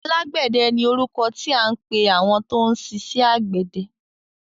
Alágbẹ̀dẹ ni orúkọ tí à ń pẹ àwọn tó ń ṣiṣẹ àgbẹ̀dẹ.